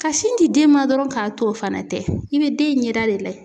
Ka sin di den ma dɔrɔn k'a to o fana tɛ i bɛ den ɲɛda de layɛ.